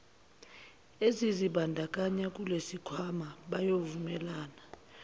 ezizibandakanya kulesisikhwama bayovumelana